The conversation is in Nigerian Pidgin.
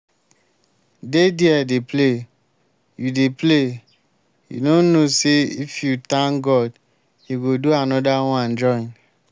dey there dey play. you dey play. you no know say if you thank god he go do another one join